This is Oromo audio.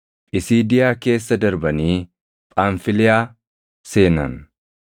Phisiidiyaa keessa darbanii Phamfiliyaa seenan.